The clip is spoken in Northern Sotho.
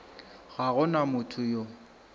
ga go na motho yo